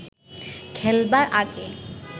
খেলবার আগে